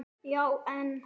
Já, en